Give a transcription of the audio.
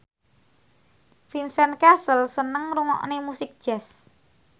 Vincent Cassel seneng ngrungokne musik jazz